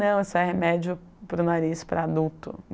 Não, isso é remédio para o nariz para adulto.